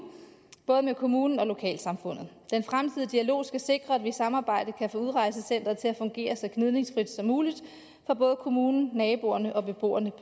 både med kommunen og med lokalsamfundet den fremtidige dialog skal sikre at vi i et samarbejde kan få udrejsecenteret til at fungere så gnidningsfrit som muligt for både kommunen naboerne og beboerne